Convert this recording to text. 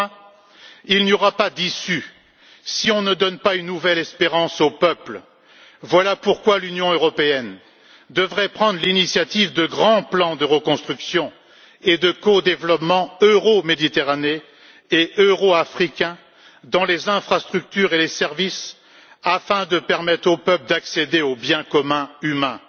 Enfin, il n'y aura pas d'issue si on ne donne pas une nouvelle espérance au peuple, voilà pourquoi l'Union européenne devrait prendre l'initiative de grands plans de reconstruction et de codéveloppement euro méditerranéens et euro africains dans le domaine des infrastructures et des services, afin de permettre au peuple d'accéder au bien commun humain.